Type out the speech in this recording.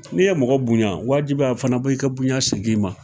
N'i ye mɔgɔ bonya, wajibi a fana bɔ i ka bonya segin i ma!